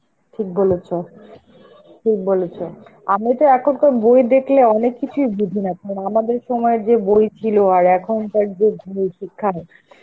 ঠিক বলেছ, ঠিক বলেছ. আমি তো এখনকার বই দেখলে অনেক কিছুই বুঝিনা, কারণ আমাদের সময় যে বই ছিল আর এখনকার যে ভূ-শিক্ষার,